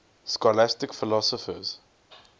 scholastic philosophers